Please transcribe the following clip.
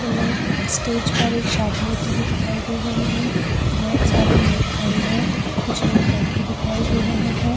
जो मे स्टेज पर एक शादी होती हुई दिखाई दे रही है बहोत सारे लोग खड़े है कुछ लोग बैठे दिखाई दे रहै है।